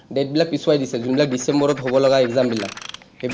date বিলাক পিছুৱাই দিছে, যোনবিলাক ডিচেম্বৰত হ’ব লগা exam বিলাক, সেইবিলাক